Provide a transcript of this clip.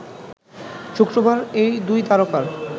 শুক্রবার এই দুই তারকার